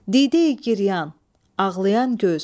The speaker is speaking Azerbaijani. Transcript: Dideyi giryan, ağlayan göz.